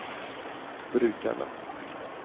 brukerne